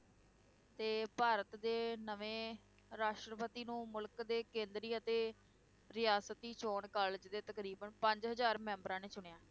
ਤੇ ਭਾਰਤ ਦੇ ਨਵੇਂ ਰਾਸ਼ਟਰਪਤੀ ਨੂੰ ਮੁਲਕ ਦੇ ਕੇਂਦਰੀ ਅਤੇ ਰਿਆਸਤੀ ਚੋਣ college ਦੇ ਤਕਰੀਬਨ ਪੰਜ ਹਜ਼ਾਰ ਮੈਂਬਰਾਂ ਨੇ ਚੁਣਿਆ।